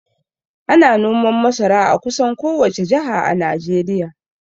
Ana noman masara a kusan kowace jaha a Najeriya